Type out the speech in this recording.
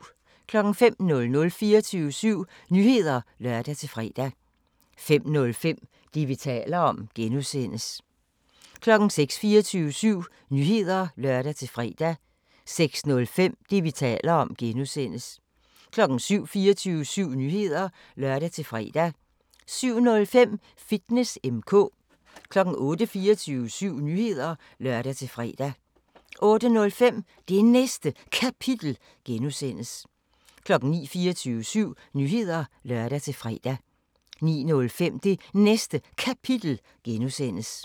05:00: 24syv Nyheder (lør-fre) 05:05: Det, vi taler om (G) 06:00: 24syv Nyheder (lør-fre) 06:05: Det, vi taler om (G) 07:00: 24syv Nyheder (lør-fre) 07:05: Fitness M/K 08:00: 24syv Nyheder (lør-fre) 08:05: Det Næste Kapitel (G) 09:00: 24syv Nyheder (lør-fre) 09:05: Det Næste Kapitel (G)